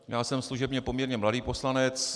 Já jsem služebně poměrně mladý poslanec.